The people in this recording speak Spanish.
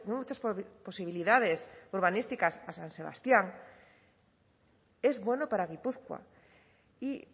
muchas posibilidades urbanísticas a san sebastián es bueno para gipuzkoa y